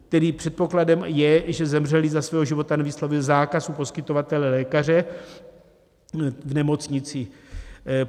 Tedy předpokladem je, že zemřelý za svého života nevyslovil zákaz u poskytovatele, lékaře v nemocnici.